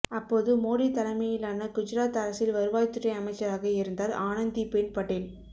அப்போது மோடி தலைமையிலான குஜராத் அரசில் வருவாய்த்துறை அமைச்சராக இருந்தார் ஆனந்திபென் படேல்